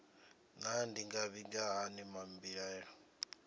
naa ndi nga vhiga hani mbilaelo